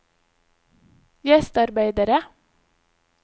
gjestearbeidere